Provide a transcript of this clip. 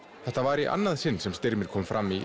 þetta var í annað sinn sem Styrmir kom fram í